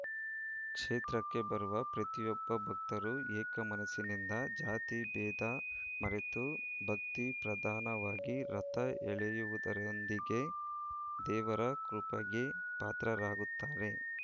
ಕ್ಷೇತ್ರಕ್ಕೆ ಬರುವ ಪ್ರತಿಯೊಬ್ಬ ಭಕ್ತರು ಏಕ ಮನಸ್ಸಿನಿಂದ ಜಾತಿ ಭೇದ ಮರೆತು ಭಕ್ತಿ ಪ್ರಧಾನವಾಗಿ ರಥ ಎಳೆಯುವುದರೊಂದಿಗೆ ದೇವರ ಕೃಪೆಗೆ ಪಾತ್ರರಾಗುತ್ತಾರೆ